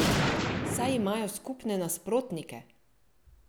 Saj imajo skupne nasprotnike!